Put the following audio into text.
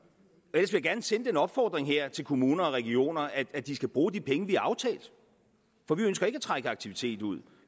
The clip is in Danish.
vil jeg gerne sende den opfordring her til kommuner og regioner at de skal bruge de penge vi har aftalt for vi ønsker ikke at trække aktivitet ud